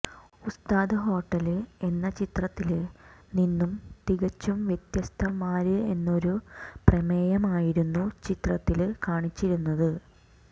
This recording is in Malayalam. ഉസ്താദ് ഹോട്ടല് എന്ന ചിത്രത്തില് നിന്നും തികച്ചും വ്യത്യസ്ഥമാര്ന്നൊരു പ്രമേയമായിരുന്നു ചിത്രത്തില് കാണിച്ചിരുന്നത്